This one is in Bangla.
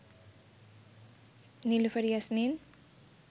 নিলুফার ইয়াসমিন